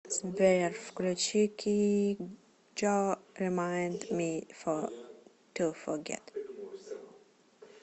сбер включи киджо ремайнд ми ту фогет